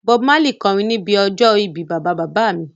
Bob Marley kọrin níbi ọjọ́ ìbí bàbá bàbá mi